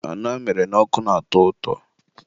anụ amịrị n'ọkụ na-atọ ụtọ.